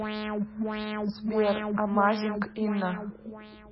сбер амазинг инна